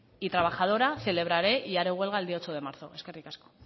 y trabajadora celebraré y haré huelga el día ocho de marzo eskerrik asko